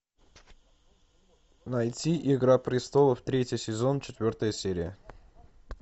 найти игра престолов третий сезон четвертая серия